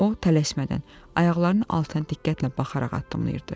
O tələsmədən, ayaqlarının altına diqqətlə baxaraq addımlayırdı.